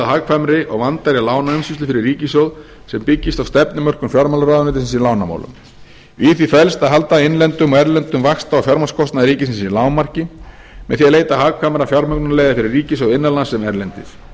hagkvæmri og vandaðri lánaumsýslu fyrir ríkissjóð sem byggist á stefnumörkun fjármálaráðuneytisins í lánamálum í því felst að halda innlendum og erlendum vaxta og fjármagnskostnaði ríkisins í lágmarki með því að leita hagkvæmra fjármögnunarleiða fyrir ríkissjóð innanlands sem erlendis